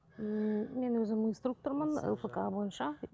м мен өзім инструктормын лпк бойынша